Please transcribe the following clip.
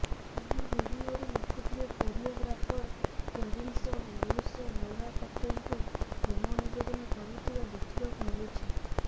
ଏହି ଭିଡିଓରେ ଲୋକପ୍ରିୟ କୋରିଓଗ୍ରାଫର ଟେରିନ୍ସ ଲୁଇସ୍ ନୋରା ଫତେହିଙ୍କୁ ପ୍ରେମ ନିବେଦନ କରୁଥିବା ଦେଖିବାକୁ ମିଳିଛି